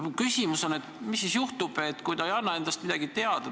Mu küsimus on, et mis juhtub siis, kui ta ei anna endast midagi teada.